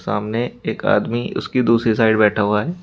सामने एक आदमी उसकी दूसरी साइड बैठा हुआ है।